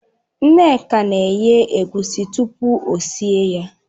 Nneka na-eghe egusi tupu o sie ya.